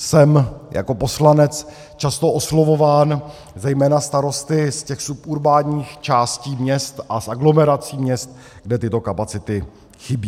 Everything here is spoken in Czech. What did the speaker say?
Jsem jako poslanec často oslovován zejména starosty z těch suburbánních částí měst a z aglomerací měst, kde tyto kapacity chybí.